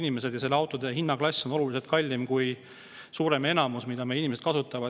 autode hinnaklass on oluliselt kallim kui suuremal enamusel, mida meie inimesed kasutavad.